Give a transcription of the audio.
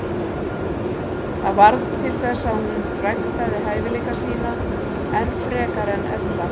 Það varð til þess að hún ræktaði hæfileika sína enn frekar en ella.